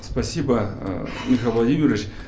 спасибо э михаил владимирович